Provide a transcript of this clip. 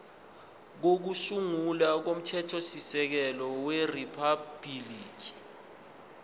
kokusungula komthethosisekelo weriphabhuliki